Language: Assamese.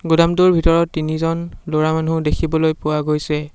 গুদামটোৰ ভিতৰত তিনিজন ল'ৰা মানুহ দেখিবলৈ পোৱা গৈছে।